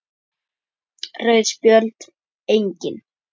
Rauð spjöld: Engin.